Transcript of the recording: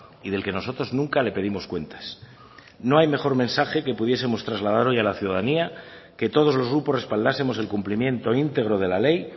y del que nosotros nunca le pedimos cuentas no hay mejor mensaje que pudiesemos trasladar hoy a la ciudadanía que todos los grupos respaldásemos el cumplimiento íntegro de la ley